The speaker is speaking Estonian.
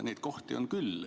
Neid kohti on küll.